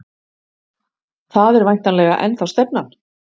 Það er væntanlega ennþá stefnan?